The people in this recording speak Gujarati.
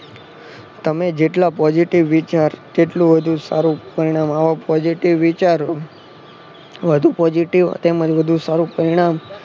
તમે જેટલા positive વિચાર તેટલું વધુ સારું પરિણામ. આવા positive વિચારો વધુ positive તેમજ વધુ સારું પરિણામ